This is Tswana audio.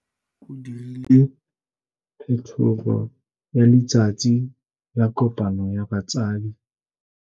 Mogokgo o dirile phetogô ya letsatsi la kopanô ya batsadi.